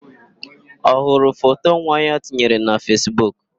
Ọ hụrụ foto nwa ya tinyere na Fesbuk?